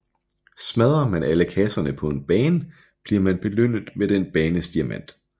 Smadre man alle kasserne på en bane bliver man belønnet med den banes diamant